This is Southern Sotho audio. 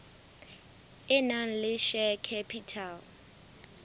e nang le share capital